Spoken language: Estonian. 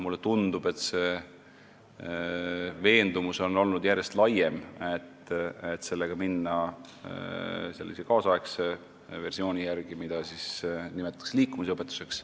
Mulle tundub, et siiski on järjest laienenud see veendumus, et sellega võiks kaasaegse versiooni järgi edasi minna ja nimetada seda liikumisõpetuseks.